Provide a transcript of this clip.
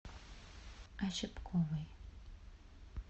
ощепковой